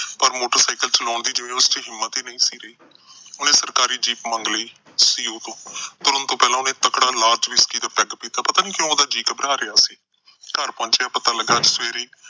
ਪਰ motorcycle ਚਲਾਉਣ ਦੀ ਜਿਵੇਂ ਉਹਦੇ ਚ ਹਿੰਮਤ ਹੀ ਨਹੀਂ ਸੀ ਰਹੀ। ਉਹਨੇ ਸਰਕਾਰੀ jeep ਮੰਗ ਲਈ CEO ਤੋਂ। ਤੁਰਨ ਤੋਂ ਪਹਿਲਾ ਉਹਨੇ ਤਕੜਾ whisky ਦਾ peg ਪੀਤਾ। ਪਤਾ ਨੀ ਕਿਉਂ ਉਹਦਾ ਜੀਅ ਘਬਰਾ ਰਿਹਾ ਸੀ। ਘਰ ਪਹੁੰਚਾ ਪਤਾ ਲੱਗਾ ਸਵੇਰੇ ਹੀ